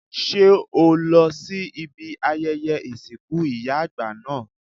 Ṣé o lọ sí ibi ayẹyẹ ìsìnkú ìyá àgbà náà?